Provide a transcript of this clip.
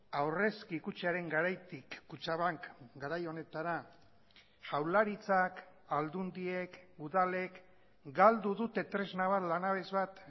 aurrezki kutxaren garaitik kutxabank garai honetara jaurlaritzak aldundiek udalek galdu dute tresna bat lanabes bat